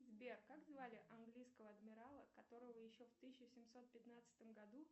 сбер как звали английского адмирала которого еще в тысяча семьсот пятнадцатом году